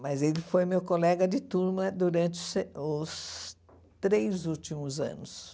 Mas ele foi meu colega de turma durante os se os três últimos anos.